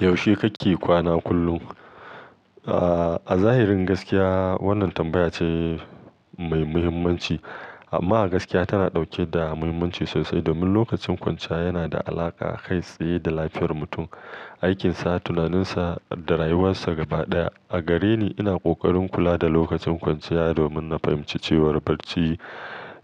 Yaushe kake kwana kullum? A zahirin gaskiya, wannan tambaya ce mai muhimmanci. Amma a gaskiya tana ɗauke da muhimmanci sosai domin lokacin kwanciya yana da alaƙa kai tsaye da lafiyar mutum, aikinsa, tunaninsa da rayuwarsa gaba ɗaya. A gare ni, ina ƙoƙarin kula da lokacin kwanciya, domin na fahimci cewa barci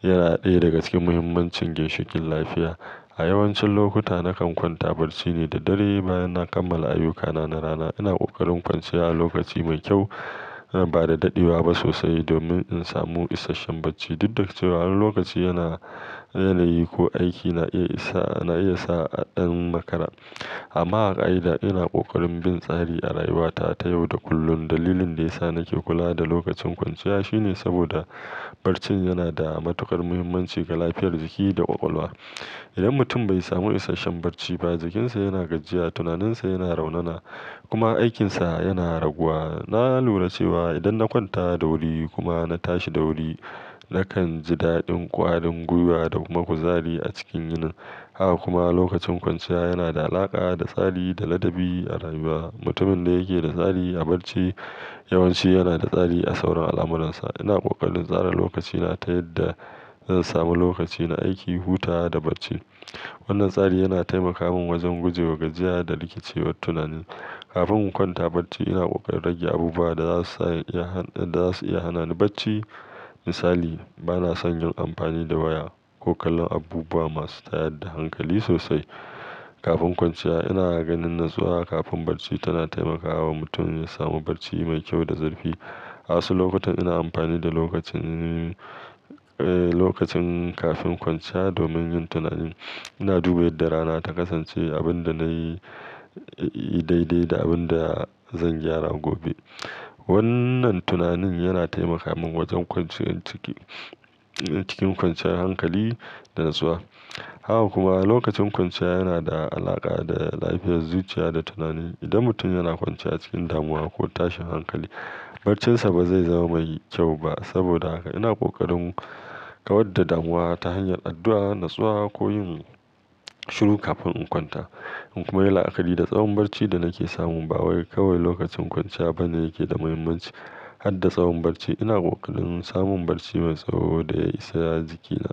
yana ɗaya daga cikin muhimmancin ginshikin lafiya. A yawancin lokuta, nakan kwanta barci ne da dare bayan na kammala ayyukana na rana. Ina ƙoƙarin kwanciya a lokaci mai kyau, ba da daɗewa ba sosai domin in samu isasshen barci. Duk da cewa wani lokaci yana yanayi ko aiki na iya sa a ɗan makara. Amma a ƙa'ida, ina ƙoƙarin bin tsari a rayuwata ta yau da kullun. Dalilin da ya sa nake kula da lokacin kwanciya shine saboda barcin yana da matuƙar muhimmanci ga lafiyar jiki da ƙwaƙwalwa. Idan mutum bai samu isasshen barci ba, jikinsa yana gajiya, tunaninsa yana raunana kuma aikinsa yana raguwa. Na lura cewa idan na kwanta da wuri kuma na tashi da wuri, nakan ji daɗin ƙwarin gwiwa da kuma kuzari a cikin yinin. Haka kuma lokacin kwanciya yana da alaƙa da tsari da ladabi a rayuwa. Mutumin da yake da tsari a barci yawanci yana da tsari a sauran al'amuransa. Ina ƙoƙarin tsara lokacina ta yadda zan samu lokaci na aiki, huta da barci. Wannan tsari yana taimaka min wajen guje wa gajiya da rikicewar tunani. Kafin in kwanta barci, ina ƙoƙarin rage abubuwa da za su iya hana ni barci. Misali, ba na sanya amfani da waya ko kallon abubuwa masu tayar da hankali sosai. Kafin kwanciya, ina ganin natsuwa kafin barci tana taimakawa mutum ya samu barci mai kyau da zurfi. A wasu lokutan ina amfani da lokacin, eh, lokacin kafin kwanciya domin yin tunani. Ina duba yadda rana ta kasance, abin da na yi daidai da abin da zan gyara gobe. Wannan tunani yana taimaka min wajen kwanciyan ciki, cikin kwanciyar hankali da natsuwa. Haka kuma lokacin kwanciya yana da alaƙa da lafiyar zuciya da tunani. Idan mutum yana kwanciya cikin damuwa ko tashin hankali, barcinsa ba zai zama mai kyau ba. Saboda haka ina ƙoƙarin kawar da damuwa ta hanyar addu'a, nutsuwa ko yin shiru kafin in kwanta. In kuma yi la'akari da tsawon barci da nake samu, ba wai kawai lokacin kwanciya bane yake da muhimmanci har da tsawon barci. Ina ƙoƙarin samun barci mai tsawo da ya isa jikina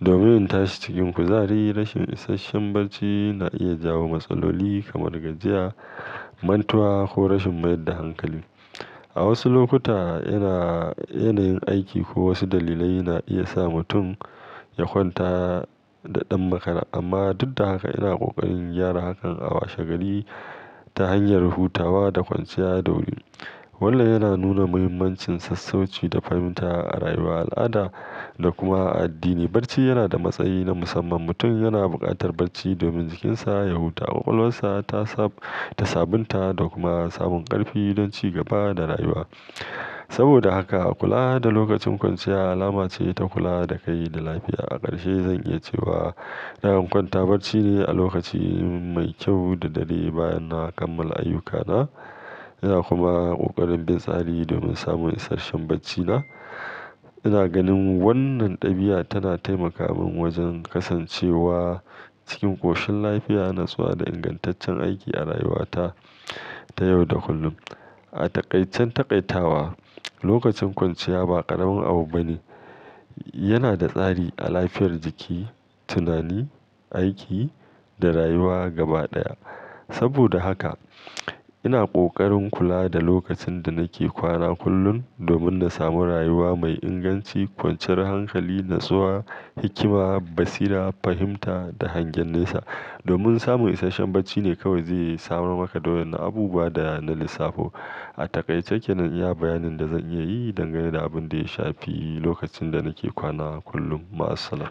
domin in tashi cikin kuzari. Rashin isasshen barci na iya jawo matsaloli kamar gajiya, mantuwa ko rashin mayar da hankali. A wasu lokuta, ina yanayin aiki ko wasu dalilai na iya sa mutum ya kwanta da ɗan makara. Amma duk da haka ina ƙoƙarin gyara hakan a washe gari ta hanyar hutawa da kwanciya da wuri. Wannan yana nuna muhimmancin sassauci da fahimta a rayuwar al'ada da kuma addini. Barci yana da matsayi na musamman. Mutum yana buƙatar barci domin jikinsa ya huta, ƙwaƙwalwarsa ta sabunta da kuma samun ƙarfi don ci gaba da rayuwa. Saboda haka kula da lokacin kwanciya alama ce ta kula da kai da lafiya. A ƙarshe zan iya cewa nakan kwanta barci ne a lokaci mai kyau da dare bayan na kammala ayyukana. Ina kuma ƙoƙarin bin tsari domin samun isasshen barcina. Ina ganin wannan ɗabi'a tana taimaka min wajen kasancewa cikin ƙoshin lafiya, natsuwa da ingantaccen aiki a rayuwata ta yau da kullum. A taƙaicin taƙaitawa, lokacin kwanciya ba ƙaramin abu bane. Yana da tsari a lafiyar jiki, tunani, aiki da rayuwa gaba ɗaya. Saboda haka ina ƙoƙarin kula da lokacin da nake kwana kullum domin na samu rayuwa mai inganci, kwanciyar hankali, natsuwa, hikima, basira, fahimta da hangen nesa. Domin samun isasshen barci ne kawai zai samar maka da wa 'yannan abubuwa da na lissafo. A taƙaice kenan iya bayanin da zan iya yi dangane da abin da ya shafi lokacin da nake kwana kullum. Ma'assalam.